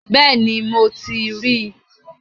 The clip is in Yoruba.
Bẹ́ẹ̀ni, mo ti ríi